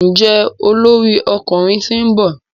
Njé olórí ọkùnrin t'in nbọ?